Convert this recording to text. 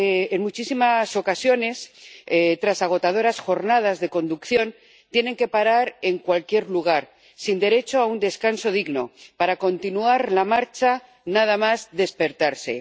En muchísimas ocasiones, tras agotadoras jornadas de conducción, tienen que parar en cualquier lugar, sin derecho a un descanso digno, para continuar la marcha nada más despertarse.